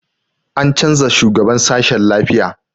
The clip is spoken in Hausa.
An canza shugaban sashen lafiya